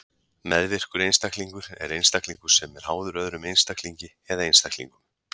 Meðvirkur einstaklingur er einstaklingur sem er háður öðrum einstaklingi eða einstaklingum.